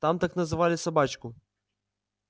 там так называли собачку